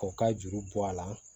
K'o ka juru bɔ a la